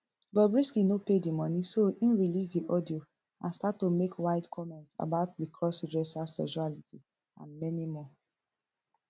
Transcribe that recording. bobrisky no pay di money so im release di audio and start to make wild comment about di cross dresser sexuality and many more